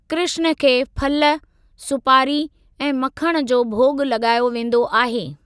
कृष्‍ण खे फल, सुपारी ऐं मक्‍खण जो भोॻ लॻायो वेंदो आहे।